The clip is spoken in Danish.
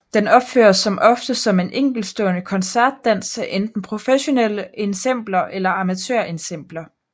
Den opføres som oftest som en enkeltstående koncertdans af enten professionelle ensembler eller amatørensembler